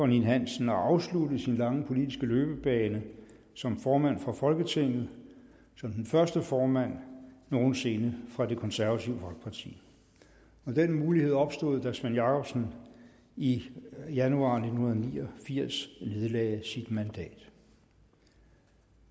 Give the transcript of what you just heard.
ninn hansen at afslutte sin lange politiske løbebane som formand for folketinget og som den første formand nogen sinde fra det konservative folkeparti den mulighed opstod da svend jakobsen i januar nitten ni og firs nedlagde sit mandat